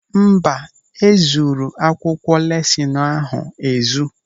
Mba, e zuru akwụkwọ lesinu ahụ ezu.